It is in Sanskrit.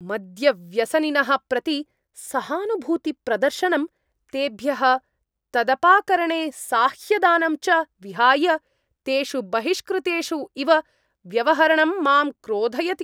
मद्यव्यसनिनः प्रति सहानुभूतिप्रदर्शनम्, तेभ्यः तदपाकरणे साह्यदानम् च विहाय, तेषु बहिष्कृतेषु इव व्यवहरणं माम् क्रोधयति।